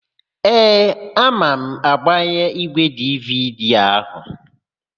Ee, ama m agbanye ígwèdividi áhụ̀.